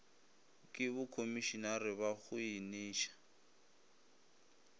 ke bokhomišenare ba go eniša